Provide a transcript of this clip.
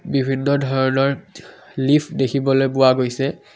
বিভিন্ন ধৰণৰ লিফট দেখিবলৈ পোৱা গৈছে।